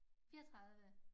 34